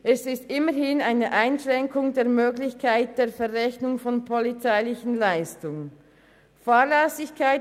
Er stellt immerhin eine Einschränkung der Möglichkeit der Verrechnung von polizeilichen Leistungen dar.